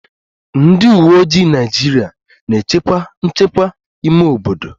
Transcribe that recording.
Ndị uweojii Naịjirịa na-echekwa nchekwa ime obodo